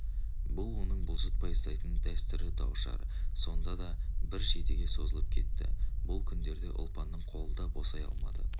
бұл оның бұлжытпай ұстайтын дәстүрі дау-шар сонда да бір жетіге созылып кетті бұл күндерде ұлпанның қолы да босай алмады